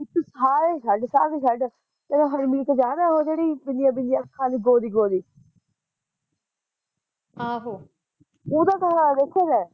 ਸਾਰੇ ਛੱਡ ਸਾਰੇ ਛੱਡ ਤੇਨੂੰ ਹਰਮੀਤ ਯਾਦ ਉਹ ਜਿਹੜੀ ਬਿੱਲੀਆਂ ਬਿੱਲੀਆਂ ਅੱਖਾਂ ਆਲੀ ਗੋਰੀ ਗੋਰੀ ਆਹ ਉਹਦਾ ਘਰਆਲਾ ਦੇਖਿਆ ਤੈ